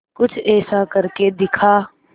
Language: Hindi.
कुछ ऐसा करके दिखा